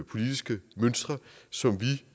politiske mønstre som vi